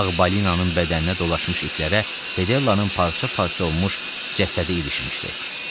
Ağ balinanın bədəninə dolaşmış iplərə Fedellanın parça-parça olmuş cəsədi ilişmişdi.